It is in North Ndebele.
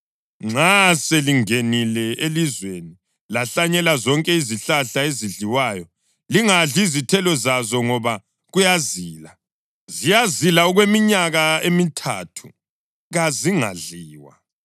Nxa selingenile elizweni, lahlanyela zonke izihlahla ezidliwayo, lingadli izithelo zazo ngoba kuyazila. Ziyazila okweminyaka emithathu; kazingadliwa.